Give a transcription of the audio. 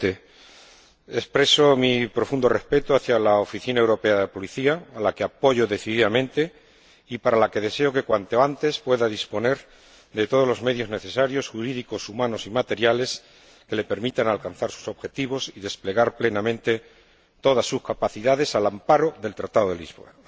Señor Presidente, expreso mi profundo respeto a la Oficina Europea de Policía, a la que apoyo decididamente y para la que deseo que, cuanto antes, pueda disponer de todos los medios necesarios —jurídicos, humanos y materiales— que le permitan alcanzar sus objetivos y desplegar plenamente todas sus capacidades, al amparo del Tratado de Lisboa.